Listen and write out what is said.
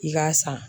I k'a san